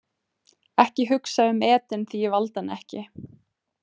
Ekki hugsa um Eden því ég valdi hann ekki.